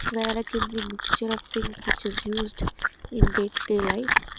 in the mixture of things which is used in they life.